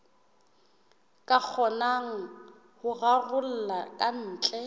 ka kgonang ho raroloha kantle